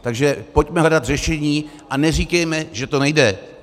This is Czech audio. Takže pojďme hledat řešení a neříkejme, že to nejde.